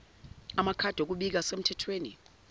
amakhadi okubika asemthethweni